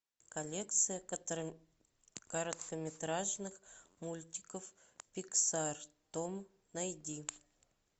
коллекция короткометражных мультиков пиксар том найди